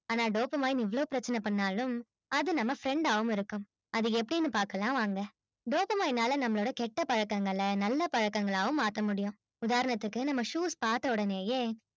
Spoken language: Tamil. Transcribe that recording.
ஆனா dopamine இவ்ளோ பிரச்சனை பண்ணாலும் அது நம்ம friend ஆவும் இருக்கும் அது எப்படின்னு பார்க்கலாம் வாங்க dopamine னால நம்மளோட கெட்ட பழக்கங்களை நல்ல பழக்கங்களாகவும் மாத்த முடியும் உதாரணத்துக்கு நம்ம shoes பார்த்த ஒடனேயே